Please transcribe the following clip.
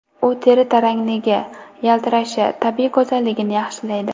U teri tarangligi, yaltirashi, tabiiy go‘zalligini yaxshilaydi.